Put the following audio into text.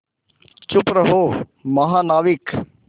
चुप रहो महानाविक